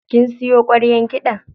Kin siyo ƙwaryar kiɗan?